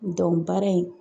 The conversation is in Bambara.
baara in